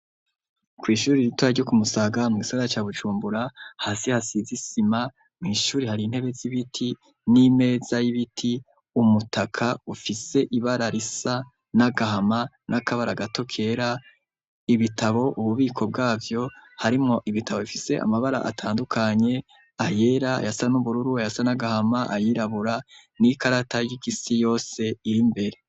Ku ishuri iritora ryoku Musaga mu isaga ca Bujumbura, hasi hasizisima mu ishuri hari intebe z'ibiti n'imeza y'ibiti umutaka ufise ibara risa n'agahama n'akabara gato kera, ibitabo ububiko bwavyo harimo ibitabo bifise amabara atandukanye ayera yasa n'ubururu yasa n'agahama ayirabura n'ikarata yisi yose iri mbere.